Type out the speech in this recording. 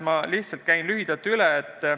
Ma lihtsalt käin need lühidalt üle.